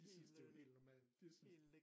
De synes det jo helt normalt de synes